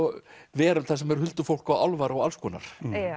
veröld þar sem er huldufólk og álfar og alls konar